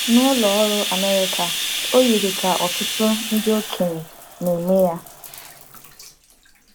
N’Ụlọ Ọrụ Amerịka, o yiri ka ọtụtụ ndị okenye na-eme ya.